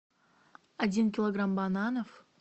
один килограмм бананов